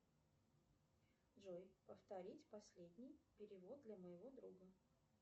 джой повторить последний перевод для моего друга